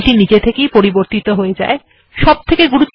PDF ফাইলটি নিজে থেকেই পরিবর্তিত হয়ে যায় আমাদের আলাদা করে কিছু করতে হয়না